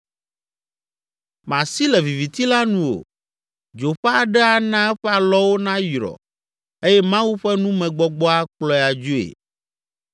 Masi le viviti la nu o, dzo ƒe aɖe ana eƒe alɔwo nayrɔ eye Mawu ƒe numegbɔgbɔ akplɔe adzoe.